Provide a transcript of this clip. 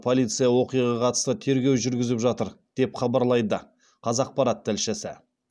полиция оқиғаға қатысты тергеу жүргізіп жатыр деп хабарлайды қазақпарат тілшісі